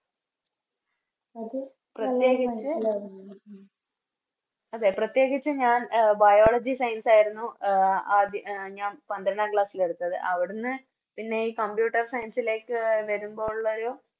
അതെ പ്രത്യേകിച്ച് ഞാൻ Biology science ആയിരുന്നു ആഹ് ആദ്യം ഞാൻ പന്ത്രണ്ടാം Class എടുത്തത് അവിടുന്ന് പിന്നെയി Computer science ലേക്ക് വരുമ്പോ ഉള്ളൊരു